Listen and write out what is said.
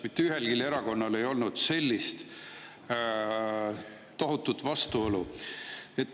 Mitte ühelgi erakonnal ei olnud sellist tohutut vastuolu.